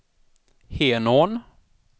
Henån